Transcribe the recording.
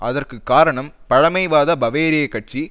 அதற்கு காரணம் பழைமைவாத பவேரியக் கட்சி